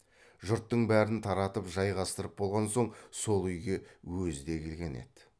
жұрттың бәрін таратып жайғастырып болған сөн сол үйге өзі де келген еді